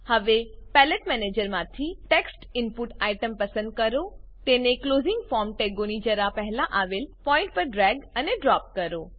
હવે પેલેટ મેનેજરમાંથી text input item પસંદ કરો તેને ક્લોઝિંગ ફોર્મ ટેગોની જરા પહેલા આવેલ પોઈન્ટ પર ડ્રેગ અને ડ્રોપ કરો